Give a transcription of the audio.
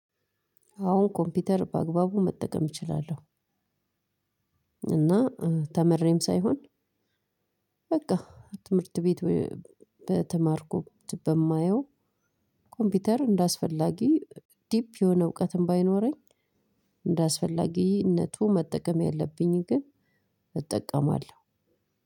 አወን ኮምፒውተር በአግባቡ መጠቀም እችላለሁ። እና ተምሬም ሳይሆን በቃ ትምህርት ቤት በተማርኩ በማየው ኮምፒውተር እንደአስፈላጊ ዲፕ የሆነ እውቀትም ባይኖረኝ። እንደአስፈላጊነቱ መጠቀም ያለብኝን ግን እጠቀማለሁ።